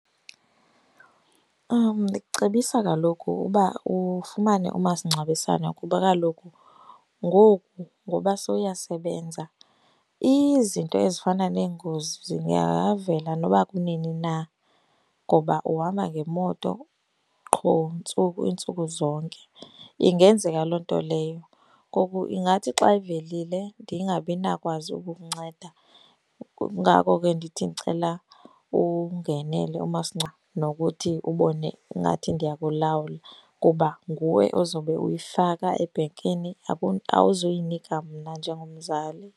Ndicebisa kaloku uba ufumane umasingcwabisane kuba kaloku ngoku ngoba sowuyasebenza, izinto ezifana neengozi zingavela nokuba kunini na ngoba uhamba ngemoto qho, ntsuku iintsuku zonke. Ingenzeka loo nto leyo ngoku ingathi xa ivelile ndingabi nakwazi ukukunceda. Kungako ke ndithi ndicela ungenele umasingcwabe nokuthi ubone ingathi ndiya kulawula kuba nguwe ozobe uyifaka ebhenkini, awuzuyinika mna njengomzali.